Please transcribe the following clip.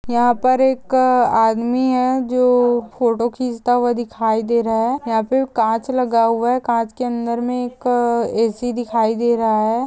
यहाँ पर एक आदमी है जो फोटो खींचता हुआ दिखाई दे रहा है। यहाँ पे कांच लगा हुआ है। कांच के अंदर में एक ऐसी दिखाई दे रहा है।